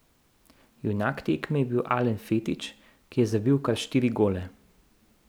Junak tekme je bil Alen Fetič, ki je zabil kar štiri gole.